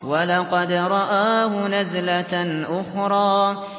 وَلَقَدْ رَآهُ نَزْلَةً أُخْرَىٰ